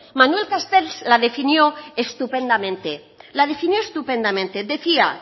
manuel castells la definió estupendamente la definió estupendamente decía